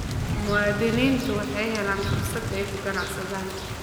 Muwaadiniintu waxay helaan fursad ay ku ganacsadaan.